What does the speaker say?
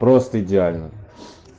просто идеально